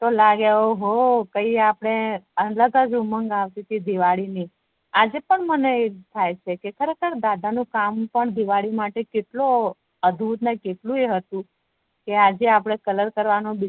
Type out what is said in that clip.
લાગે ઓ હો કઈ આપડે અલગજ ઉમંગ આવતી તી દિવાળી ની આજેપણ મને આવું થાય છે ખરે-ખર દાદા નું કામ પણ કેટલું અતુર ને કેટલું એ હતું કે આજે અપડે કલર નો